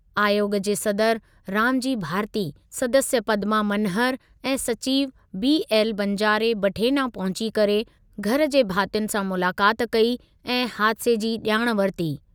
आयोॻ जे सदर रामजी भारती, सदस्य पद्मा मनहर ऐं सचिवु बीएल बंजारे बठेना पहुची करे घर जे भातियुनि सां मुलाक़ात कई ऐं हादिसे जी ॼाण वरिती।